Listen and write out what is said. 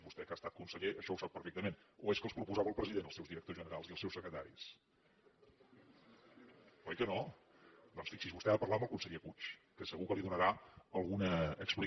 vostè que ha estat conseller això ho sap perfectament o és que els proposava el president els seus directors generals i els seus secretaris oi que no doncs fixi’s vostè ha de parlar amb el conseller puig que segur que li donarà alguna explicació